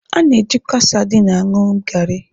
A na-ejikwa sadin aṅụ garị.